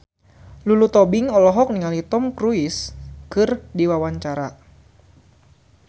Lulu Tobing olohok ningali Tom Cruise keur diwawancara